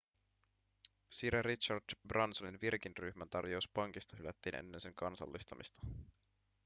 sir richard bransonin virgin-ryhmän tarjous pankista hylättiin ennen sen kansallistamista